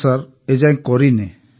ନା ସାର୍ ଏଯାଏଁ କରିନି